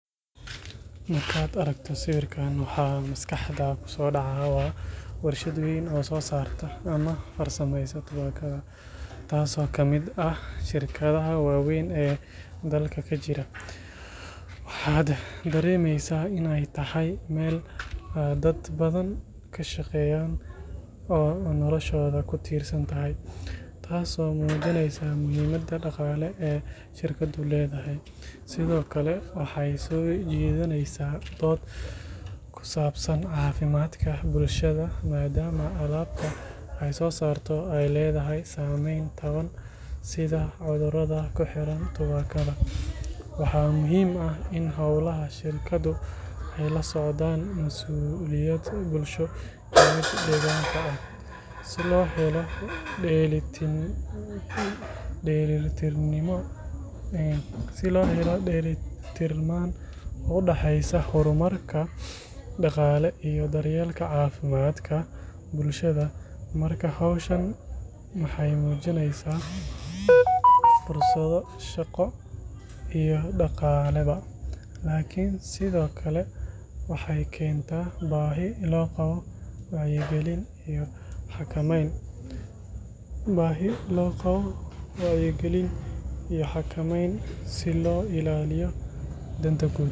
Markad aragto sawirkan waxa maskaxd kusoo dhacay waa warshad weyn oo soo sarta ama farsameeyso tubaakada, taasa kamid ah shirkadaha waweyn ee dalka kajira, waxad dareemeysa inay tahay Mel dad badan kashaqeeyan oo noloshooda kutirsantahay taaso muujineysa muhiimada dhaqale ee shirkadu leedahay, sidokale waxay soo jedineysa dod kusabsan caafimadka bulshada maadama alabta ay soo sarto ay ledahay saameyn badan sida cudurada kuxiran tubaakada, waxa muhiim ah in howlaha shirkadu ay la socodaan mas'ulayad bulsho, si loo helo dheelin tirnaan udhaxeeysa horumarka dhaqale iyo daryelka caafimadkada bulshada, marka howshan maxay muujineysa fursado shaqo iyo dhaqaale ba, lakin sidokale waxay kenta baahi loo qabo wacyi gelin iyo xakameyn si loo illaliyo danta guud